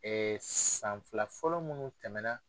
san fila fɔlɔ munnu tɛmɛ na.